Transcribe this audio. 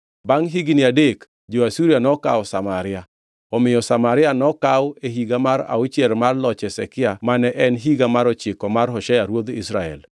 Bangʼ higni adek, jo-Asuria nokaw Samaria. Omiyo Samaria nokaw e higa mar auchiel mar loch Hezekia mane en higa mar ochiko mar Hoshea ruodh Israel.